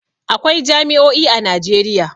Akwai jami'o'i a Najeriya.